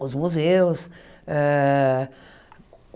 os museus. ah